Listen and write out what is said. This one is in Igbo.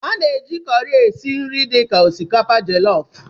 A na-eji kọrị esi nri dị ka osikapa jellof.